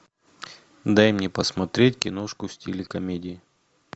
дай мне посмотреть киношку в стиле комедии